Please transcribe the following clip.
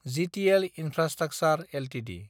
GTL infrastructure Ltd